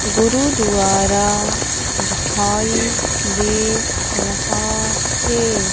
गुरुद्वारा दिखाई दे रहा है।